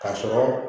Ka sɔrɔ